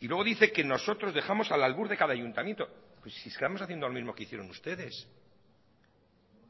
y luego dice que nosotros dejamos al albur de cada ayuntamiento pero si estamos haciendo lo mismo que hicieron ustedes